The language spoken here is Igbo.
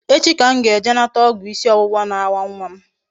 Echi ka m ga-eje nata ogwu isi owuwa na-awa nwa m